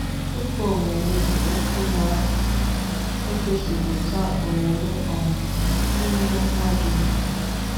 Ụka omume by okwu na egosi pụta omume um n'ihe mmadu na eme.